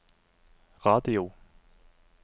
radio